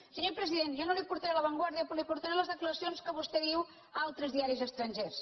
senyor president jo no li portaré la vanguardia però li portaré les declaracions que vostè fa a altres diaris estrangers